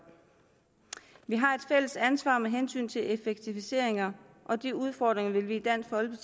vi har et fælles ansvar med hensyn til effektiviseringer og de udfordringer vil vi